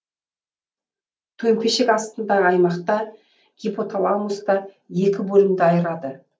төмпешік астындағы аймақта гипоталамусты екі бөлімді айырады